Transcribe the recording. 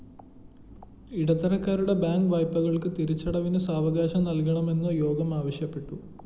ഇടത്തരക്കാരുടെ bank വായ്‌പകള്‍ക്ക്‌ തിരിച്ചടവിന്‌ സാവകാശം നല്‍കണമെന്നും യോഗം ആവശ്യപ്പെട്ടു